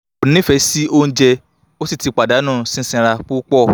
ko nife si ounje o si ti padanu sisanra pupo